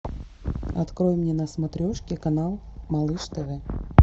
открой мне на смотрешке канал малыш тв